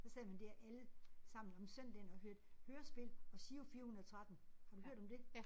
Så sad man dér allesammen om søndagen og hørte hørespil og Giro 413. Har du hørt om det?